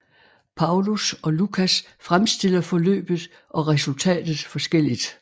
Paulus og Lukas fremstiller forløbet og resultatet forskelligt